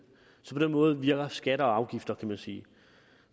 så på den måde virker skatter og afgifter kan man sige